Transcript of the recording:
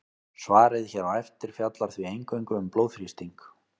Svarið hér á eftir fjallar því eingöngu um blóðþrýsting.